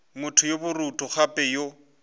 motho yo borutho gape yo